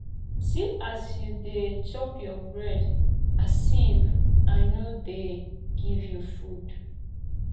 see as you dey chop your bread as if i no dey give you food